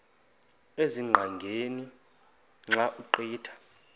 ezingqaqeni xa ugqitha